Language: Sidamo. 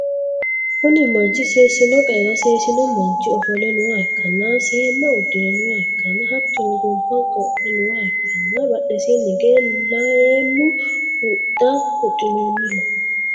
kuni manchi seesino qa'era seesino manchi ofolle nooha ikkanna, seemma uddi're nooha ikkanna, hattono gonfa godhe nooha ikkanna, badhesiinni hige leemmu huxxa huxxi'noonniho.